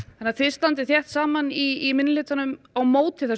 þið standið þétt saman í minnihluta á móti þessu